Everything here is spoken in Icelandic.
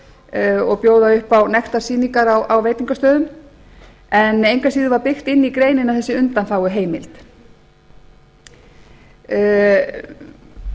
nektardansstaða og bjóða upp á nektarsýningar á veitingastöðum engu að síður var byggt inn í greinina þessi undanþáguheimild og